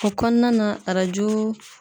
O kɔnɔna na arajo